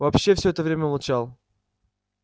вообще все это время молчал